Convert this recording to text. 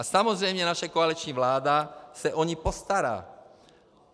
A samozřejmě naše koaliční vláda se o ně postará.